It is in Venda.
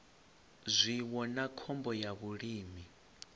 zwiwo na khombo ya vhulimi